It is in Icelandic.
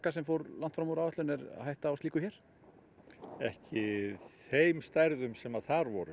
sem fór langt fram úr áætlun er hætta á slíku hér ekki á þeim stærðum sem þar voru